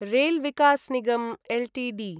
rail Vikas Nigam Ltd